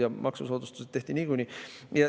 Ja maksusoodustused tehti niikuinii.